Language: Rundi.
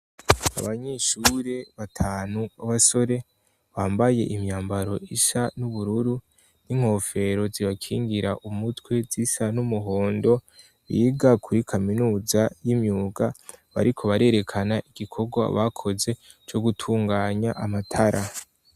Abanyeshure batanu b' abasore, bambaye imyambaro isa n'ubururu n'inkofero zibakingira umutwe zisa n'umuhondo, biga kuri kaminuza y'imyuga, bariko barerekana igikorwa bakoze co gutunganya amatara.